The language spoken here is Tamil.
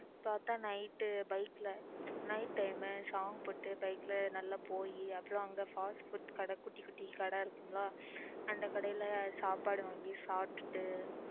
பார்த்தா night bike ல night time song போட்டு bike ல போய் அதுவும் அங்க fast food கடை குட்டி குட்டி கடை இருக்கும் ல அந்த கடையில சாப்பாடு வாங்கி சாப்பிட்டுட்டு